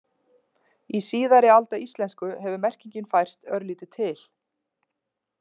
Í síðari alda íslensku hefur merkingin færst örlítið til.